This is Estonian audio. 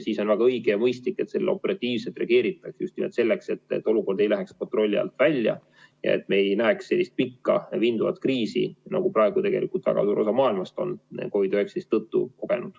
Siis on väga õige ja mõistlik sellele operatiivselt reageerida – just nimelt selleks, et olukord ei läheks kontrolli alt välja ja me ei näeks sellist pikka vinduvat kriisi, nagu praegu tegelikult väga suur osa maailmast on COVID-19 tõttu kogenud.